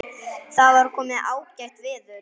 Þá var komið ágætt veður.